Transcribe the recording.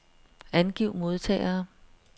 Angiv modtagere.